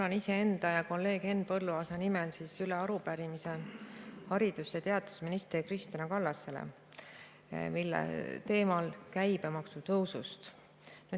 Annan iseenda ja kolleeg Henn Põlluaasa nimel üle arupärimise haridus‑ ja teadusminister Kristina Kallasele, teema on käibemaksu tõus.